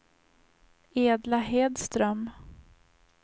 Edla Hedström